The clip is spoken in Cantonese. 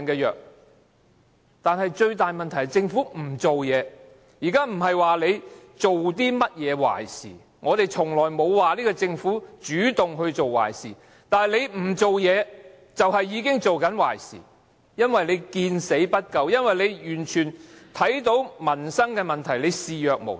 現在不是說政府做了甚麼壞事，我們從來沒有說這個政府主動做壞事，但它不做事，已經是在做壞事，因為政府見死不救，對於民生問題視若無睹。